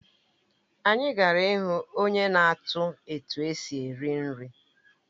Anyị gara ịhụ onye na-atụ etu esi eri nri